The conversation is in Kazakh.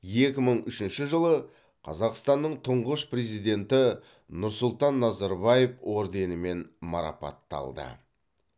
екі мың үшінші жылы қазақстанның тұңғыш президенті нұрсұлтан назарбаев орденімен марапатталды